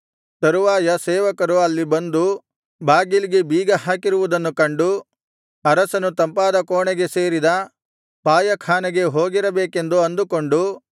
ತರುವಾಯ ಸೇವಕರು ಅಲ್ಲಿ ಬಂದು ಬಾಗಿಲಿಗೆ ಬೀಗಹಾಕಿರುವುದನ್ನು ಕಂಡು ಅರಸನು ತಂಪಾದ ಕೋಣೆಗೆ ಸೇರಿದ ಪಾಯಖಾನೆಗೆ ಹೋಗಿರಬೇಕು ಅಂದುಕೊಂಡು